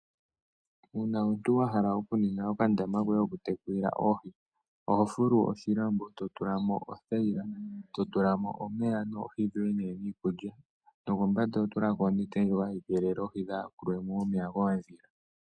Uuna omuntu wa hala okuninga okandama koye kokutekulila oohi oho fulu oshilambo e to tula mo othayila, to tula mo omeya goye nee niikulya nokombanda oho tula ko onete ndjoka hayi keelele oohi kaadhi yakulwe mo momeya koondhila.